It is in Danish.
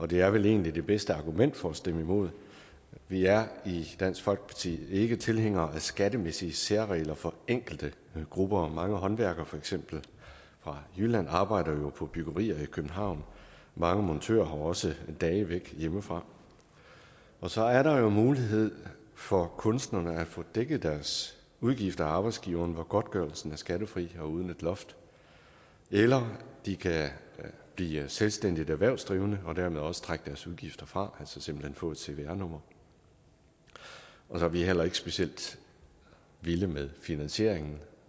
det er vel egentlig det bedste argument for at stemme imod vi er i dansk folkeparti ikke tilhængere af skattemæssige særregler for enkelte grupper mange håndværkere for eksempel fra jylland arbejder jo på byggerier i københavn mange montører har også dage væk hjemmefra så er der jo mulighed for kunstnerne at få dækket deres udgifter af arbejdsgiverne hvor godtgørelsen er skattefri og uden et loft eller de kan blive selvstændige erhvervsdrivende og dermed også trække deres udgifter fra altså simpelt hen få et cvr nummer så er vi heller ikke specielt vilde med finansieringen